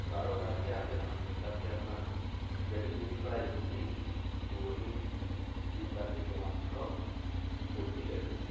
ਬਾਹਰੋਂ ਕਰਕੇ ਆ ਕੇ ਸਭ ਕੁਛ ਕਰਕੇ ਆਪਣਾ ਜਿਹੜੀ ਚੀਜ਼ ਦੀ ਪੜ੍ਹਾਈ ਕੀਤੀ, ਉਹੀ ਚੀਜ਼ ਕਰਕੇ ਕਮਾ ਕੇ ਖਾਓ, ਹੋਰ ਕੀ ਚਾਹੀਦਾ